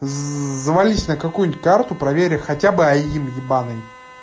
завались на какую-нибудь карту проверить хотя бы аим ебаный